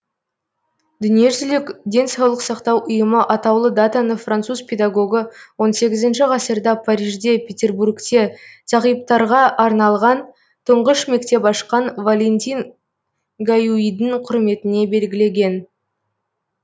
дүниежүзілік денсаулық сақтау ұйымы атаулы датаны француз педагогы он сегізінші ғасырда парижде петербургте зағиптарға арналған тұңғыш мектеп ашқан валентин гаюидің құрметіне белгілеген